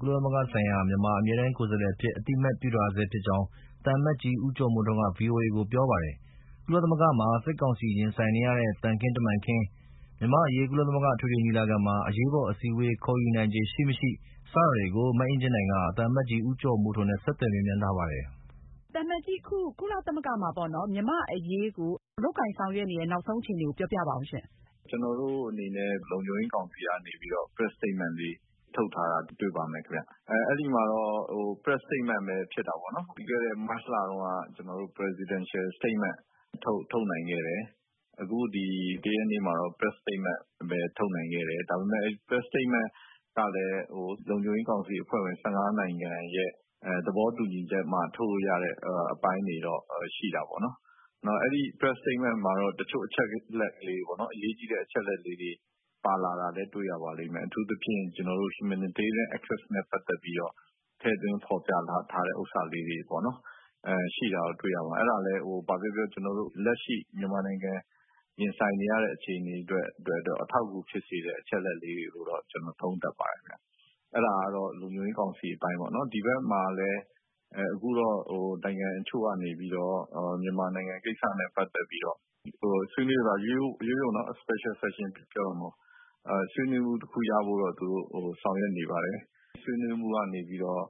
ကုလသမဂ္ဂဆိုင်ရာ မြန်မာ အမြဲတမ်းကိုယ်စားလှယ်အဖြစ် သူကို ကုလသမဂ္ဂ က အသိအမှတ်ပြုထားဆဲဖြစ်ကြောင်း သံအမတ်ကြီး ဦးကျော်မိုးထွန်းက VOA ကိုပြောပါတယ်။ ကုလသမဂ္ဂမှာ လက်ရှိ စစ်ကောင်စီနဲ အပြိုင် ရင်ဆိုင်နေရတဲ့ သံခင်းတမန်ခင်း၊ မြန်မာ့အရေး ကုလအထွေထွေညီလာခံမှာ အရေးပေါ်အစည်းအဝေး ခေါ်ယူနိုင်ခြေရှိမရှိ စတာတွေကို မအင်ကြင်းနိုင်က သံအမတ်ကြီး ဦးကျော်မိုးထွန်းကို ဆက်သွယ်မေးမြန်းထားပါတယ်။ မအင်ကြင်းနိုင်။ ။ သံအမတ်ကြီး အခု ကုလသမဂ္ဂမှာ လုပ်ဆောင်နေတဲ့ နောက်ဆုံးအခြေအနေကို ပြောပြပါဦးရှင့်။ သံအမတ်ကြီး ဦးကျော်မိုးထွန်း။ ။ ကျနော်တို့အနေနဲ့ လုံခြုံရေးကောင်စီကနေပြီးတော့ Press Statement ထုတ်ထားတာတွေ့ပါမယ်။ အဲဒီမှာတော့ Press Statement ပဲ ဖြစ်တာပေါ့နော်။ ပြီးခဲ့တဲ့ မတ်လတုန်းက Presidential Statement ထုတ်နိုင်ခဲ့တယ်။ အခု ဒီ ၁ ရက်နေ့မှာတော့ Press Statement ထုတ်နိုင်ခဲ့တယ်။ ဒါပေမယ့် Press Statement ကလည်း လုံခြုံရေးကောင်စီအဖွဲ့ဝင် ၁၅ နိုင်ငံရဲ့ သဘောတူညီချက်နဲ့မှ ထုတ်လို့ရတဲ့ အပိုင်းတွေတော့ ရှိတာပေါ့နော်။ အဲဒီ Press Statement မှာ တချို့အရေးကြီးတဲ့ အချက်အလက်လေးတွေ ပါတာလာလည်း တွေ့ရပါတယ်။ အထူးသဖြင့်ကျနော်တို့ Humanitarian access နဲ့ပတ်သက်ပြီးတော့ ထည့်သွင်းဖော်ပြထားတဲ့ ဟာတွေပေါ့နော် ရှိတာတော့ တွေ့ရပါတယ်။ အဲဒါလည်း ဘာပဲပြောပြော ကျနေ်ာတို့ လက်ရှိ မြန်မာနိုင်ငံ ရင်ဆိုင်နေရတဲ့ အခြေအနေအတွက်တော့ အထောက်အကူဖြစ်စေတဲ့ အချက်အလက်လေးတွေလို့ ကျနော်သုံးသပ်ပါတယ်။ အဲဒါကတော့ လုံခြုံရေးကောင်စီအပိုင်းပေါ့နော်။ ဒီဘက်မှာလည်း အခုတော့ နိုင်ငံအချို့ကနေပြီးတော့ မြန်မာနိုင်ငံကိစ္စနဲ့ ပတ်သက်ပြီးတော့ ဆွေးနွေးတယ်၊ ရိုးရိုးနော် special section ပြောတာမဟုတ်ဘူး။ ဆွေးနွေးမှုတခုရဖို့တော့ သူတို့ ဆောင်ရွက်နေပါတယ်။ ဆွေးနွေးမှုကနေပြီးတော့